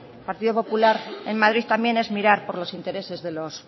el partido popular en madrid también es mirar por los intereses de los